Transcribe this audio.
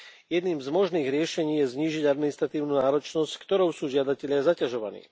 Jedným z možných riešení je znížiť administratívnu náročnosť, s ktorou sú žiadatelia zaťažovaní.